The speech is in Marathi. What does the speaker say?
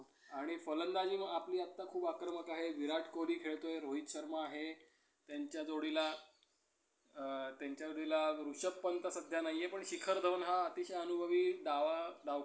आणि फलंदाजी आपली आता खूप आक्रमक आहे. विराट कोहली खेळतोय. रोहित शर्मा आहे. त्यांच्या जोडीला, त्यांच्या जोडीला ऋषभ पंत सध्या नाहीये. पण शिखर धवन हा अतिशय अनुभवी डावा